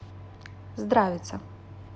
здравица